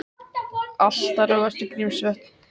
Allt að róast við Grímsvötn